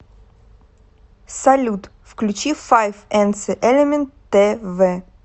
салют включи файф энцэ элемент тэ вэ